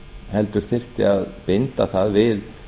heldur þyrfti að binda það við